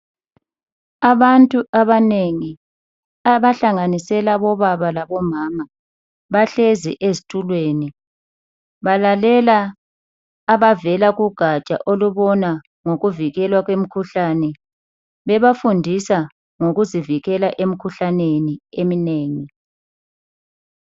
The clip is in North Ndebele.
Abantu abanengi abahlanganisela bobaba labomama bahlezi ezitulweni balalela abavela kugatsha olubona ngokuvikelwa kwemikhuhlane bebafundisa ngokuzifikela emkhuhlaneni eminengi.